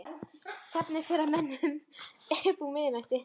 Svefninn fer að mönnum upp úr miðnætti.